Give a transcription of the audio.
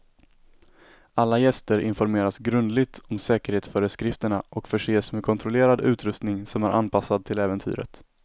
Alla gäster informeras grundligt om säkerhetsföreskrifterna och förses med kontrollerad utrustning som är anpassad till äventyret.